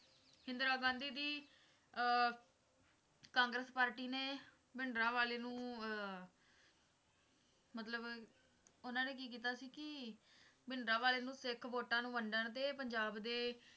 ਇੰਦਰਾ ਗਾਂਧੀ ਦੀ ਅਹ ਕਾਂਗਰਸ ਪਾਰਟੀ ਨੇ ਭਿੰਡਰਾਂਵਾਲੇ ਨੂੰ ਅਹ ਮਤਲਬ ਉਨ੍ਹਾਂ ਨੇ ਕੀ ਕੀਤਾ ਸੀ ਕਿ ਭਿੰਡਰਾਂਵਾਲੇ ਨੂੰ ਸਿੱਖ ਵੋਟਾਂ ਨੂੰ ਵੰਡਣ ਤੇ ਪੰਜਾਬ ਦੇ